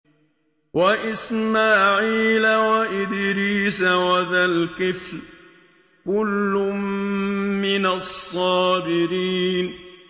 وَإِسْمَاعِيلَ وَإِدْرِيسَ وَذَا الْكِفْلِ ۖ كُلٌّ مِّنَ الصَّابِرِينَ